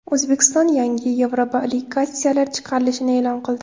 O‘zbekiston yangi yevroobligatsiyalar chiqarilishini e’lon qildi.